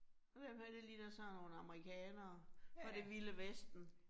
Og dem her det ligner sådan nogle amerikanere fra det vilde vesten